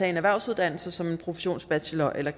en erhvervsuddannelse som en professionsbachelor eller